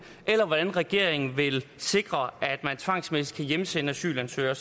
eller hvordan regeringen vil sikre at man tvangsmæssigt kan hjemsende asylansøgere